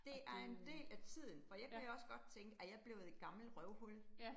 Det er en del af tiden, for jeg kan også godt tænke, er jeg blevet et gammelt røvhul